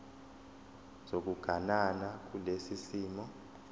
sokuganana kulesi simo